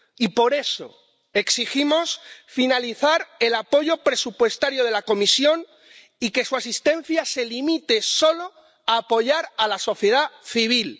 Y, por eso, exigimos finalizar el apoyo presupuestario de la Comisión y que su asistencia se limite solo a apoyar a la sociedad civil